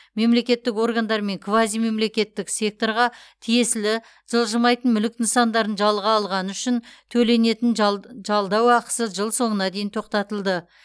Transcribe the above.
мемлекеттік органдар мен квазимемлекеттік секторға тиесілі жылжымайтын мүлік нысандарын жалға алғаны үшін төленетін жалд жалдау ақысы жыл соңына дейін тоқтатылды